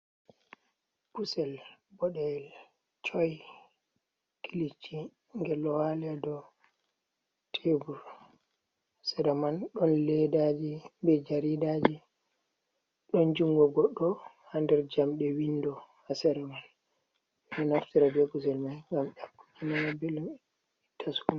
Kusel boɗeyel coy kilici ngel ɗo waali a dow tebur, sera man ɗon leedaaji be jaridaaji, ɗon junngo goɗɗo haa nder jamɗe winndo, haa sera man. Ɓe ɗo naftira be kusel may, ngam ƴakkugo nana belɗum.